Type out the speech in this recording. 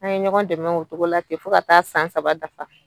An ye ɲɔgɔn dɛmɛ o togo la te fo ka taa san saba dafa.